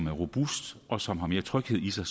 er robust og som har mere tryghed i sig